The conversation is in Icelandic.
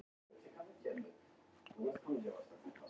Frábær prófessor, sagði Haraldur Hálfdán.